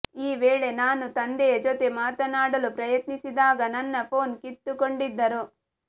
ಈ ವೇಳೆ ನಾನು ತಂದೆಯ ಜೊತೆ ಮಾತನಾಡಲು ಪ್ರಯತ್ನಿಸಿದಾಗ ನನ್ನ ಫೋನ್ ಕಿತ್ತುಕೊಂಡಿದ್ದರು